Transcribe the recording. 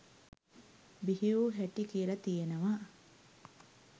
බිහිවූ හැටි කියල තියෙනවා.